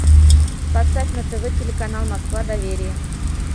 поставь на тв телеканал москва доверие